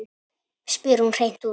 spyr hún hreint út.